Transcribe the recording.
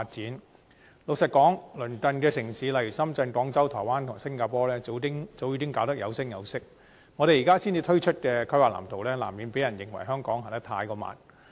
坦白說，鄰近城市如深圳、廣州、台灣及新加坡，在智慧城市發展方面早已做得有聲有色，我們現時才推出規劃藍圖，難免被人認為香港走得太慢。